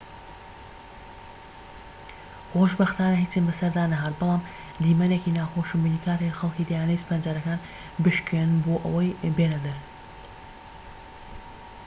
خۆشبەختانە هیچم بەسەردا نەهات بەڵام دیمەنێکی ناخۆشم بینی کاتێک خەڵکی دەیانویست پەنجەرەکان بشکێنن بۆ ئەوەی بێنەدەر